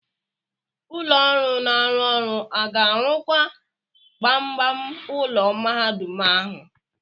Ụlọ ọrụ na-arụ ọrụ aga-arụkwa gbamgbam ulọ mahadum ahụ?